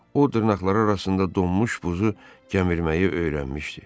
O dırnaqları arasında donmuş buzu gəmirməyi öyrənmişdi.